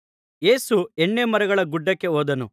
ಯೇಸು ಎಣ್ಣೆಮರಗಳ ಗುಡ್ಡಕ್ಕೆ ಹೋದನು